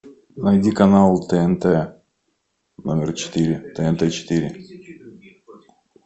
найди канал тнт номер четыре тнт четыре